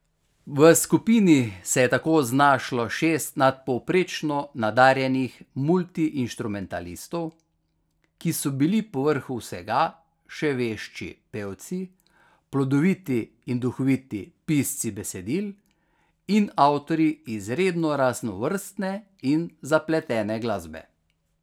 V skupini se je tako znašlo šest nadpovprečno nadarjenih multiinštrumentalistov, ki so bili povrh vsega še vešči pevci, plodoviti in duhoviti pisci besedil in avtorji izredno raznovrstne in zapletene glasbe.